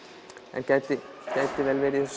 en gæti gæti vel verið